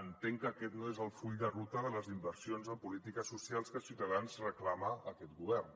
entenc que aquest no és el full de ruta de les inversions en polítiques socials que ciutadans reclama a aquest govern